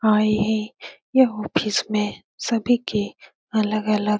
हाँ यही यह ऑफिस में सभी के अलग-अलग --